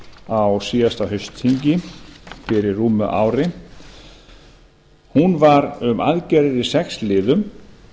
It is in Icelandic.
á síðasta haustþingi fyrir rúmu ári hún var um aðgerðir í sex liðum